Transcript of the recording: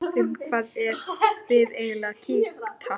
Um hvað eruð þið eiginlega að kýta?